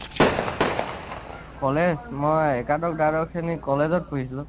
college মই একাদশ, দ্বাদশ শ্ৰণী college পঢ়িছিলো